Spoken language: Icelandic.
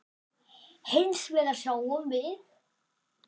Hins vegar sjáum við